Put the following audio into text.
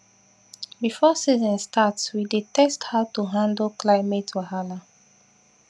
before season start we dey test how to handle climate wahala